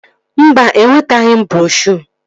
Mba, enwetaghị m broshuo